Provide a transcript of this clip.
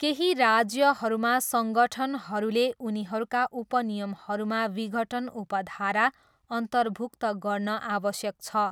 केही राज्यहरूमा सङ्गठनहरूले उनीहरूका उपनियमहरूमा विघटन उपधारा अन्तर्भुक्त गर्न आवश्यक छ।